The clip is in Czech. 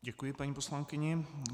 Děkuji paní poslankyni.